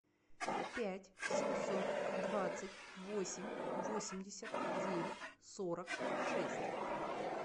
пять семьсот двадцать восемь восемьдесят девять сорок шесть